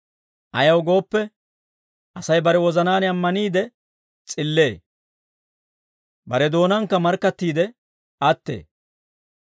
Ayaw gooppe, Asay bare wozanaan ammaniide s'illee; bare doonaankka markkattiide attee.